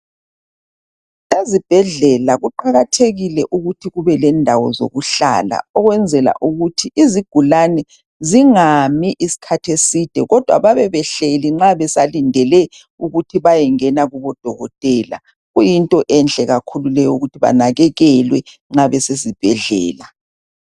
Ezibhedlela kuqakathekile ukuthi kube lendawo zokuhlala ukwenzela ukuthi izigulane zingami isikhathi eside kodwa babebehlezi nxa besalindele ukuthi bayengena kubodokotela. Kuyinto enhle kakhulu eyokuthi banakakelwe nxa besezibhedlela.